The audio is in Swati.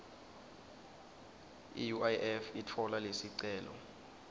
iuif itfola lesicelo